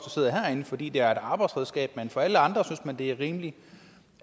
sidder herinde fordi det er et arbejdsredskab men for alle andre gælder det er rimeligt